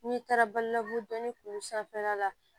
N'i taara balbugu dɔnnin kuru sanfɛla la